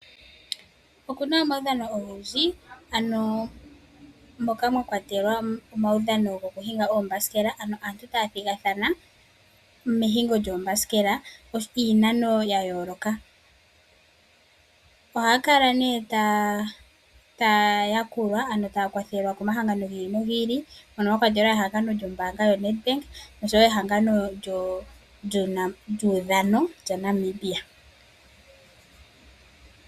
Okuna omaudhano ogendji, ano moka mwa kwa telwa omauudhano gokuhinga oombasikela, ano aantu taya thigathana mehingo lyoombasikela iinano ya yooloka. Ohaya kala nee taya ya kulwa ano taya kwathelwa komahangano gi i li no gi i li mono mwakwatelwa ehangano lyombaanga yoNedBank nosho wo ehangano lyuudhano lyaNamibia.